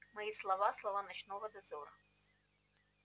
мои слова слова ночного дозора